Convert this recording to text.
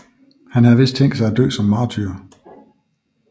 Han havde vist tænkt sig at dø som martyr